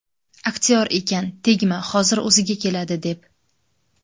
Aktyor ekan, tegma, hozir o‘ziga keladi, deb.